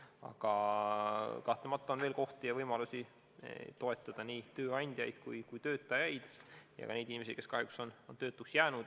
Aga kahtlemata on veel võimalusi toetada nii tööandjaid, töötajaid kui ka neid inimesi, kes kahjuks on töötuks jäänud.